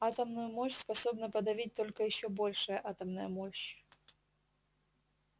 атомную мощь способна подавить только ещё большая атомная мощь